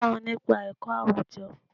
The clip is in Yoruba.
Ẹ kó wọn nípa ẹ̀kọ́ àwùjọ.